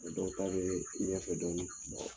dɔw ta bɛ ɲɛfɛ dɔnni.